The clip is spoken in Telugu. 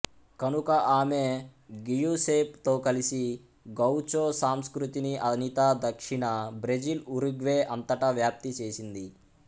కనుక ఆమె గియుసేప్ తో కలసి గౌచో సంస్కృతిని అనిత దక్షిణ బ్రెజిల్ ఉరుగ్వే అంతటా వ్యాప్తి చేసింది